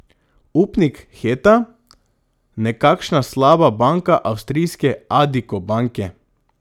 Upnik Heta, nekakšna slaba banka avstrijske Addiko banke.